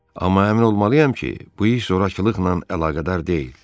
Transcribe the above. Amma əmin olmalıyayam ki, bu iş zorakılıqla əlaqədar deyil.